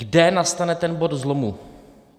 Kde nastane ten bod zlomu.